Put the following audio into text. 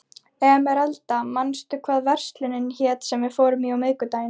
Emeralda, manstu hvað verslunin hét sem við fórum í á miðvikudaginn?